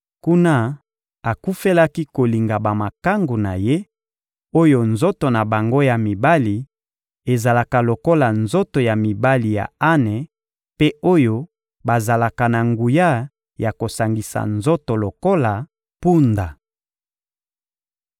Kuna, akufelaki kolinga bamakangu na ye, oyo nzoto na bango ya mibali ezalaka lokola nzoto ya mibali ya ane mpe oyo bazalaka na nguya ya kosangisa nzoto lokola mpunda.